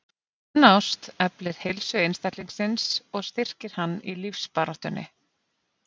Sönn ást eflir heilsu einstaklingsins og styrkir hann í lífsbaráttunni.